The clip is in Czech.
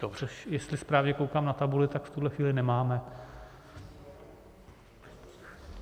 Což, jestli správně koukám na tabuli, tak v tuhle chvíli nemáme.